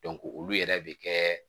olu yɛrɛ bɛ kɛ